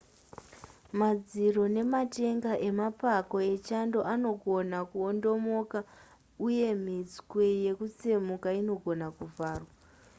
madziro nematenga emapako echando anogona kuondomoka uye mitswe yekutsemuka inogona kuvharwa